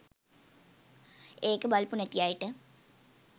ඒක බලපු නැති අයට.